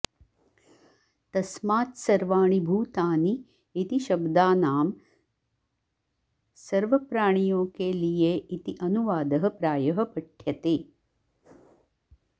तस्मात्सर्वाणि भूतानि इति शब्दानां सर्वप्राणियों के लिये इति अनुवादः प्रायः पठ्यते